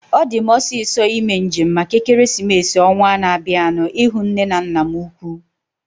Ọ di m osisọ ime njem maka ekeresimesi ọnwaa na-abianu ihu nne na nna m ukwuu